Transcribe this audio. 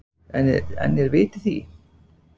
En er vit í því?